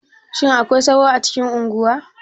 Shin akwai sauro a cikin unguwa?